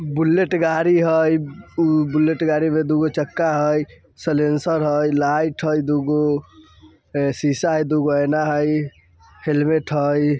बुलेट गाड़ी है| वह बुलेट गाड़ी का दुगो चक्का हई साइलेंसर हई लाइट हई दुगो शीशा हई दुगो आईना हई हेलमेट हई।